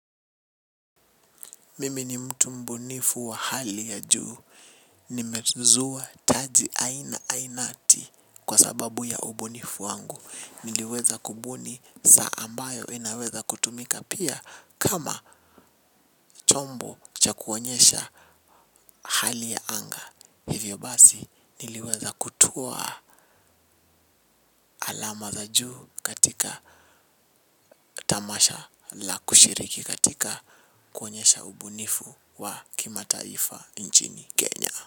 Mimi ni mtu mbunifu wa hali ya juu, nimezuwa taji aina ainati kwa sababu ya ubunifu wangu, niliweza kubuni saa ambayo inaweza kutumika pia kama chombo cha kuonyesha hali ya anga hivyo basi niliweza kutoa alama za juu katika tamasha la kushiriki katika kuonyesha ubunifu wa kimataifa nchini Kenya.